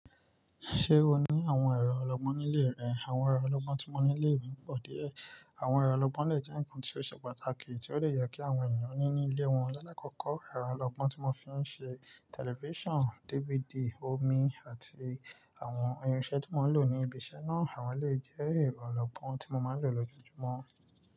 Ṣé o ní àwọn ẹ̀rọ ọlọ́gbọ́n ní ilé rẹ? Àwọn ẹ̀rọ ọlọ́gbọ́n tí mo ní ilé mi pọ̀ díẹ̀. Àwọn ẹ̀rọ ọlọ́gbọ́n lè jẹ́ ǹkan tí ó ṣe pàtàkì tí ó dẹ̀ yẹ kí àwọn ènìyàn ní nílé wọn. Àkọ́kọ́ ẹ̀rọ ọlọ́gbọ́n tí mo fi ńṣe tẹlifísàn, DVD, omi àti àwọn irinṣẹ́ tí mo ńlò ní ibi iṣẹ́ náà, àwọn ilé jẹ́ ẹ̀rọ ọlọ́gbọ́n tí mo máa ńlò lójoojúmọ́.